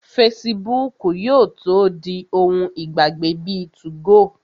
Fesibúùkù yóò tó di ohun ìgbàgbé bíi 2go